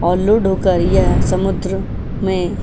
और लोड होकर यह समुद्र में।